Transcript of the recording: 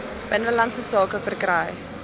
binnelandse sake verkry